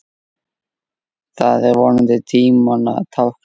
Það er vonandi tímanna tákn.